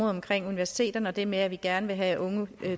omkring universiteterne og det med at vi gerne vil have unge